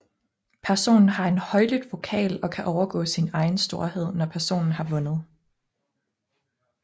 Personen har en højlydt vokal og kan overgå sin egen storhed når personen har vundet